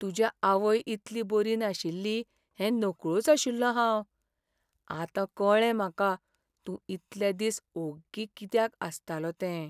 तुज्या आवय इतली बरी नाशिल्ली हें नकळोच आशिल्लों हांव. आतां कळ्ळें म्हाका तूं इतले दीस ओग्गी कित्याक आसतालो तें.